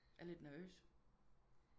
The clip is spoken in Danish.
Jeg er lidt nervøs